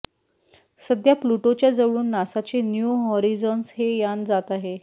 सध्या प्लुटोच्या जवळून नासाचे न्यू होरीझॉन्स हे यान जात आहे